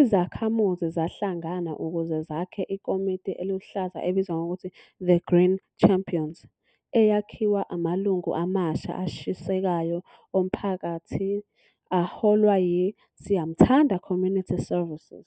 Izakhamuzi zahlangana ukuze zakhe ikomiti eluhlaza ebizwa ngokuthi "The Green Champions" eyakhiwa amalungu amasha ashisekayo omphakathi aholwa yi-Siyamthanda Community Services.